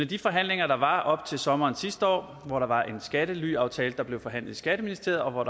de forhandlinger der var op til sommeren sidste år hvor der var en skattelyaftale der blev forhandlet i skatteministeriet og hvor